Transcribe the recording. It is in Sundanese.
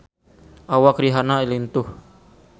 Awak Rihanna lintuh